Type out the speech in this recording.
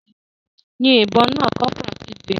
Yin ìbọn náà!, corporal kigbe.